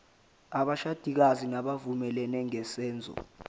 abashadikazi bavumelene ngesenzo